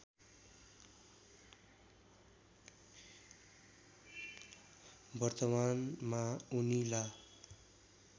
वर्तमानमा उनी ला